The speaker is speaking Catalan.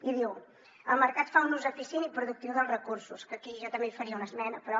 i diu el mercat fa un ús eficient i productiu dels recursos que aquí jo també hi faria una esmena però